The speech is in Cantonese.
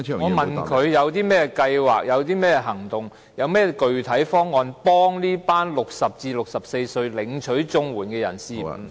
我問他有何計劃、行動及具體方案幫助這群60歲至64歲領取綜援的人士......